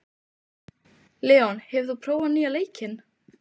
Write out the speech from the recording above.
Leon, hefur þú prófað nýja leikinn?